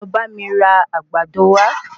Lọ bá mi ra Àgbàdo wa